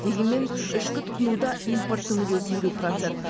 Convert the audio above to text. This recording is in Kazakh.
дегенмен ішкі тұтынуда импорттың үлесі елу процент